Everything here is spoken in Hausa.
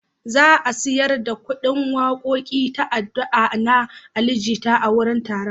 Za a sayar da ƙundin waƙoƙi ta “Addu’ar” na Ali Jita a wurin taron.